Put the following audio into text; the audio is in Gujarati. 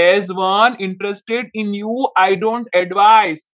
as one interest in new I don't advise